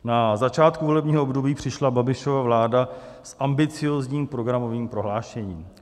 Na začátku volebního období přišla Babišova vláda s ambiciózním programovým prohlášením.